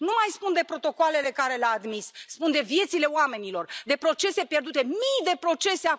Nu mai spun de protocoalele pe care le a admis spun de viețile oamenilor, de procese pierdute, mii de procese.